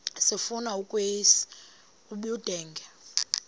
sifuna ukweyis ubudenge